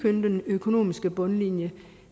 er den økonomiske bundlinje